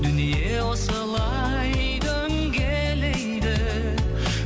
дүние осылай дөңгелейді